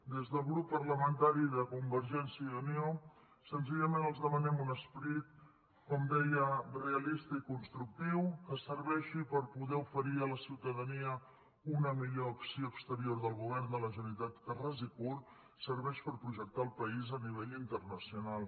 des del grup parlamentari de convergència i unió senzillament els demanem un esperit com deia realista i constructiu que serveixi per poder oferir a la ciutadania una millor acció exterior del govern de la generalitat que ras i curt serveix per projectar el país a nivell internacional